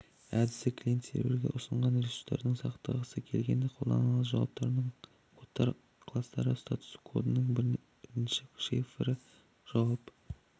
әдісі клиент серверге ұсынған ресурсты сақтағысы келгенде қолданады жауаптарының кодтар кластары статус кодының бірінші цифрі жауап